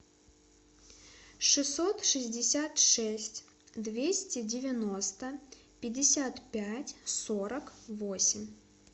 шестьсот шестьдесят шесть двести девяносто пятьдесят пять сорок восемь